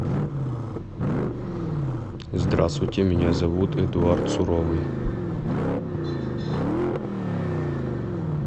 здравствуйте меня зовут эдуард суровый